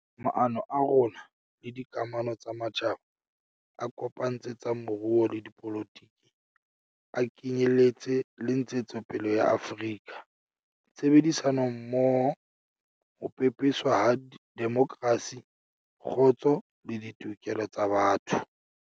Maano a rona le dikamano tsa matjhaba a kopantse tsa moruo le dipolotiki a ke nyeletse le ntshetsopele ya Afrika, tshebedisanommoho, ho pepeswa ha demokrasi, kgotso le ditokelo tsa botho.